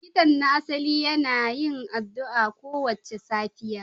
Likitan na asali yana yin addu'a kowace safiya